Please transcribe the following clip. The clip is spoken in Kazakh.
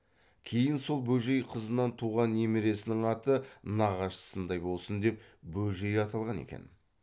кейін сол бөжей қызынан туған немересінің аты нағашысындай болсын деп бөжей аталған екен